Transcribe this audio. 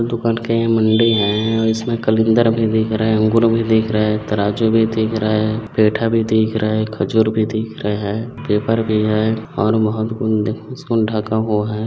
दुकान के यह मंडी है और इसमें कलिंदर भी दिख रहा है अंगूर भी दिख रहा है तराजू भी दिख रहा है पेठा भी दिख रहा है खजुर भी दिख रहा है पेपर भी है और बहोत कुछ दिख इसको ढँका हुआ है।